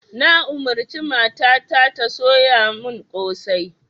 Na umarci mata ta ta soya mun kosai